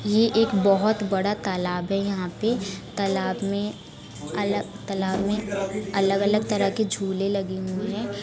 ये एक बोहोत बड़ा तालाब है यहाँ पे तालाब में अला तालाब मे अलग-अलग तरह के झूले लगे हुए हैं।